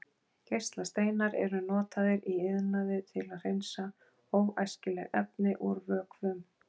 Geislasteinar eru notaðir í iðnaði til að hreinsa óæskileg efni úr vökvum.